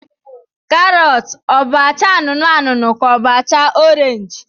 Karọt ọ bụ acha anụnụ anụnụ ka ọ bụ acha orenji?